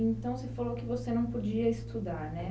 Então, você falou que você não podia estudar, né?